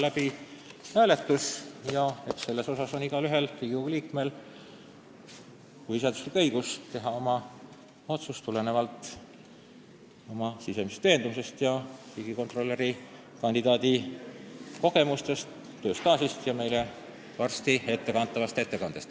Igaühel, igal Riigikogu liikmel on põhiseaduslik õigus teha otsus lähtudes oma sisemisest veendumusest, samuti riigikontrolöri kandidaadi kogemustest, tööstaažist ja meile varsti esitatavast ettekandest.